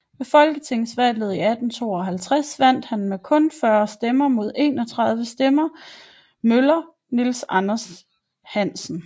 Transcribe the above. Ved folketingsvalget i 1852 vandt han med kun 40 stemmer mod 31 stemmer til møller Niels Andersen Hansen